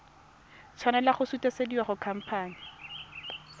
tshwanela go sutisediwa go khamphane